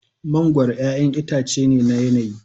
Mangoro 'ya'yan itace ne na yanayi.